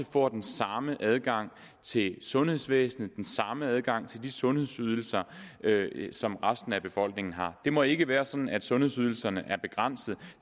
får den samme adgang til sundhedsvæsenet og den samme adgang til de sundhedsydelser som resten af befolkningen har det må ikke være sådan at sundhedsydelserne er begrænset